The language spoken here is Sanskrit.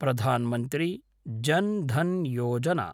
प्रधान् मन्त्री जन् धन् योजना